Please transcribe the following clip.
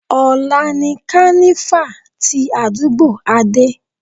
Ọ̀la ni kánífà tí àdúgbò Adé.